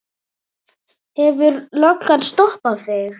Hefur löggan stoppað þig?